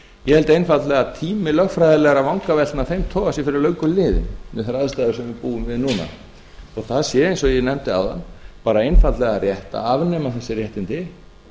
ég held einfaldlega að tími lögfræðilegra vangaveltna af þeim toga sé fyrir löngu liðinn við þær aðstæður sem við búum við núna þó það sé eins og ég nefndi áðan bara einfaldlega rétt að afnema þessi réttindi